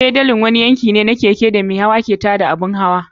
Fedalin wani yanki ne na keken da mahayin ke turawa da ƙafar su don tada abin hawa.